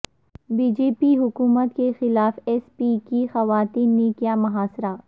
B J پی حکومت کے خلاف ایس پی کی خواتین نے کیا محاصرہ